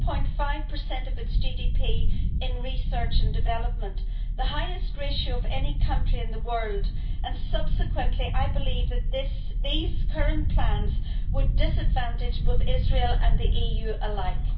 4.5 of its GDP in research and development, the highest ratio of any country in the world, and consequently I believe that these current plans would disadvantage both Israel and the EU alike.